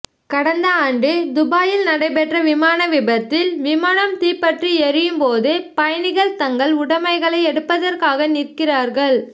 கடந்த ஆண்டு துபாயில் நடைபெற்ற விமான விபத்தில் விமானம் தீப்பற்றி எரியும்போதும் பயணிகள் தங்கள் உடமைகளை எடுப்பதற்காக நிற்கிறார்கள்